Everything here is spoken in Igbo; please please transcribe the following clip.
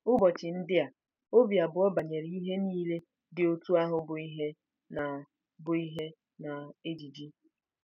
Ụbọchị ndị a, obi abụọ banyere ihe niile dị otú ahụ bụ ihe na bụ ihe na ejiji.